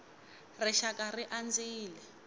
rixakara ri andzile